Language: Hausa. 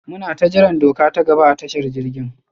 munata jiran doka ta gaba a tashar jirgin.